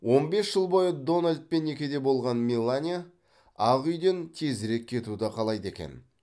он бес жыл бойы дональдпен некеде болған мелания ақ үйден тезірек кетуді қалайды екен